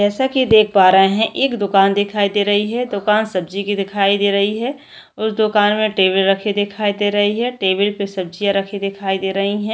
जैसा कि देख पा रहे है एक दुकान दिखाई दे रही है दुकान सब्जी की दिखाई दे रही है उस दुकान में टेबल रखे दिखाई दे रही है टेबल पर सब्जियां रखी दिखाई दे रही है।